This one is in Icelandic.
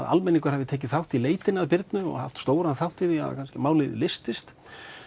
almenningur hafi tekið þátt í leitinni að Birnu og haft stóran þátt í því að málið leystist